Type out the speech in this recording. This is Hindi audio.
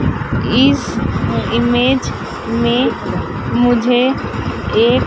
इस इमेज मे मुझे एक--